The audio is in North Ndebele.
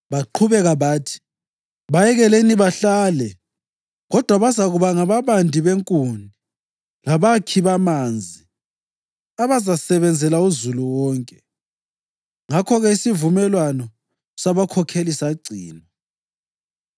Baqhubeka bathi, “Bayekeleni bahlale, kodwa bazakuba ngababandi benkuni labakhi bamanzi abazasebenzela uzulu wonke.” Ngakho-ke isivumelwano sabakhokheli sagcinwa.